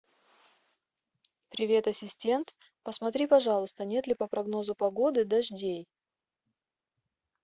привет ассистент посмотри пожалуйста нет ли по прогнозу погоды дождей